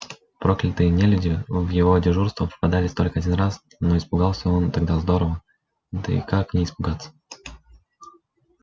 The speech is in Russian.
проклятые нелюди в его дежурства попадались только один раз но испугался он тогда здорово да и как не испугаться